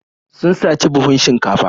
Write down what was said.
Sun saci buhun shinkafa.